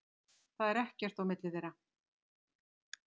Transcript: Það er ekkert á milli þeirra.